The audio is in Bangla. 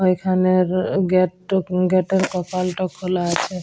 ঐখানের গেট ট গেট -এর কপাল টা খোলা আছে।